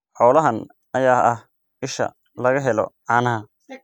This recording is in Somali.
Xoolahan ayaa ah isha laga helo caanaha.